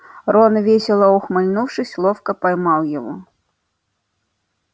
рон весело ухмыльнувшись ловко поймал его